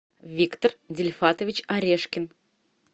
виктор дильфатович орешкин